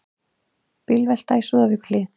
Bílvelta í Súðavíkurhlíð